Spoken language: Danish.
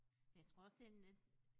Men jeg tror også det en lidt